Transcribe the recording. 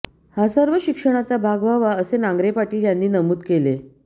हा सर्व शिक्षणाचा भाग व्हावा असे नांगरे पाटील यांनी नमुद केले